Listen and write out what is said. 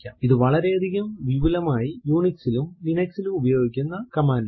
ഇത് വളരെയധികം വിപുലമായി Unix ലും Linux ലും ഉപയോഗിക്കുന്ന കമാൻഡ് ആണ്